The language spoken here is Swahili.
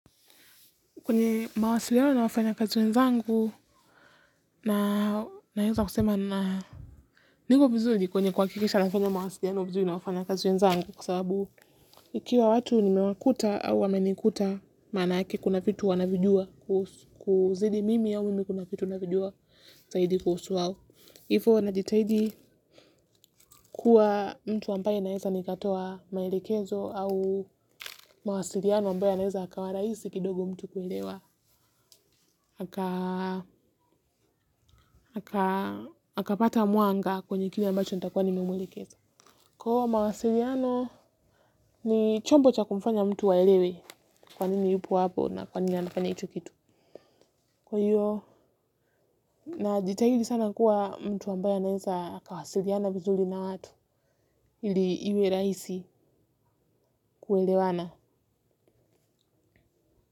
Kwenye mawasiliano na wafanyakazi wenzangu naweza kusema niko vizuri kwenye kuhakikisha nafanya mawasiliano vizuri na wafanyakazi wenzangu kwa sababu ikiwa watu nimewakuta au wamenikuta maanake kuna vitu wanavijua kuzidi mimi au mimi kuna vitu navijua zaidi kuhusu wao. Hivyo najitahidi kuwa mtu ambaye naweza nikatoa maelekezo au mawasiliano ambayo yanaweza yakawa rahisi kidogo mtu kuelewa. Akapata mwanga kwenye kile ambacho nitakuwa nimemwelekeza. Kwa hiyo mawasiliano ni chombo cha kumfanya mtu aelewe kwa nini yupo hapo na kwa nini anafanya hicho kitu. Kwa hiyo najitahidi sana kuwa mtu ambaye anaweza akawasiliana vizuri na watu ili iwe rahisi kuelewana.